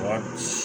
Wa